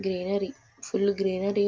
greenery full greenery --